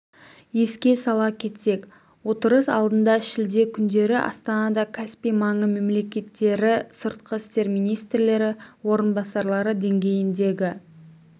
еске сала кетсек отырыс алдында шілде күндері астанада каспий маңы мемлекеттері сыртқы істер министрлері орынбасарлары деңгейіндегі